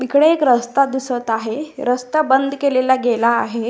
इकडे एक रस्ता दिसत आहे रस्ता बंद केलेला गेला आहे.